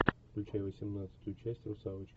включай восемнадцатую часть русалочка